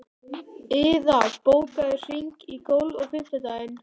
Iða, bókaðu hring í golf á fimmtudaginn.